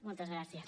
moltes gràcies